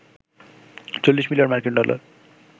৪০ million মার্কিন dollar